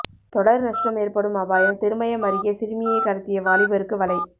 தொடர் நஷ்டம் ஏற்படும் அபாயம் திருமயம் அருகே சிறுமியை கடத்திய வாலிபருக்கு வலை